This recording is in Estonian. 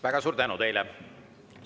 Väga suur tänu teile!